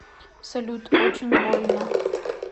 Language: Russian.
салют очень больно